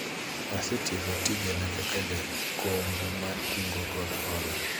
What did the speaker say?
asetieko tijena kaka jakombu mar kungo kod hola